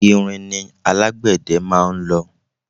ìrìn ni alágbẹ̀dẹ máa ń lọ